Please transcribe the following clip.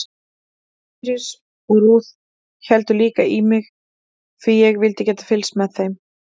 Íris og Ruth héldu líka í mig því ég vildi geta fylgst með þeim.